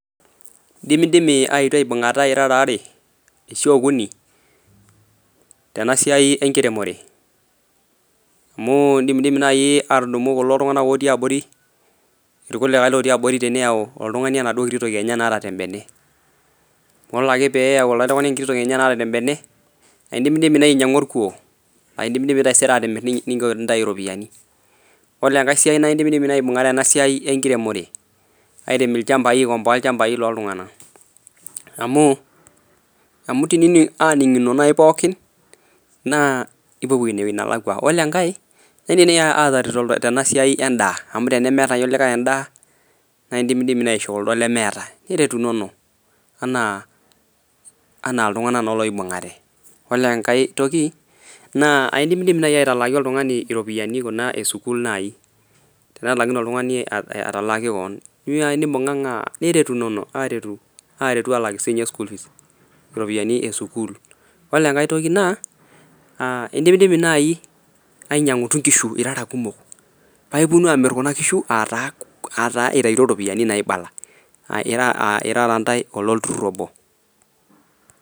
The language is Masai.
Indimidimi aetu aibungata irara waare ashu okuni, tenasiai enkiremore. Amu indimidimi naai aatudumutu kulo tunganak otii abori, irkulikae otii abori teneyau oltungani enaduo kiti toki enye naata tembene, wole ake peeyau oltungani enaduo kiti toki enye naata tembene, naa indimidimi naaji aayau orkuo, naa indimidimi taisere aatimirr nintau iropiyani. Wole enkae siai naa indimidimi naai aibungare ena siai enkiremore, airem ilchambai, aikomboa ilchambai looltunganak. Amu, amu teni aininingo naai pookin, naa ipopuo inewoji nelakwa. Yiolo enkae, iindim naai ataretoto tena siai endaa amu tenemeeta naaji likae endaa, naa indimidimi naai aishoo kuldo lemeeta, niretunono enaa iltunganak naa loibungate. Wole enkae toki, naa aindimidimi naai aatalaaki oltungani iropiyani kuna esukuul nai. Tenetalaikine oltungani atalaaki keon. Keyiu nai nimbunganga niretunono, aaretu aalik siinye school fees, iropiyani esukuul. Wole enkae toki naa, aindimidimi nai ainyiangutu inkishu irara kumok, paa iponunu aamir kuna kishu aataa itayuto iropiyani naibala. Aa irara intae iloturrur obo.